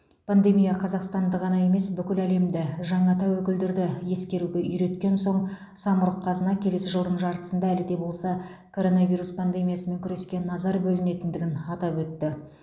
пандемия қазақстанды ғана емес бүкіл әлемді жаңа тәуекелдерді ескеруге үйреткен соң самұрық қазына келесі жылдың жартысында әлі де болса коронавирус пандемиясымен күреске назар бөлінетіндігі атап өтілді